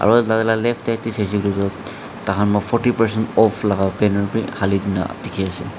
moi laga left te sai se koiley ta khan para fourty percent off laga banner te thale kina dekhi ase.